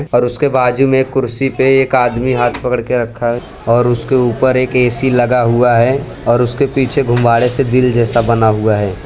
और उसके बाजु में कुर्सी पे एक आदमी हाथ पकड़ के रखा है और उसके ऊपर एक ए_सी लगा हुआ है और उसके पीछे गुब्बारे से दिल जैसा बना हुआ है।